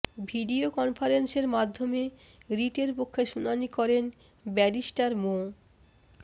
video কনফারেন্সের মাধ্যমে রিটের পক্ষে শুনানি করেন ব্যারিস্টার মো